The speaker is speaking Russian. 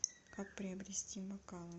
как приобрести бокалы